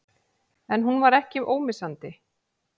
En hún var ekki ómissandi.